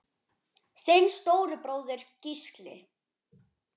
Þinn stóri bróðir, Gísli.